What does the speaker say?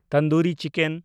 tandoori chicken